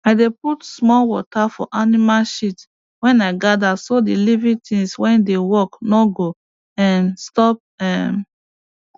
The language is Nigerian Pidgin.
i dey put small water for animal shit wey i gather so the living things wey dey work no go um stop um